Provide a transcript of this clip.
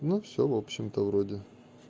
ну все в общем-то вроде